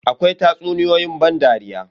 Akwai tatsuniyoyi ban dariya.